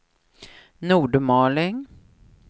Nordmaling